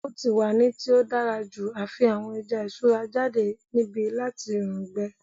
O ti wa ni ti o dara ju a fi awọn ẹja iṣura jade nibi lati oorun gbẹ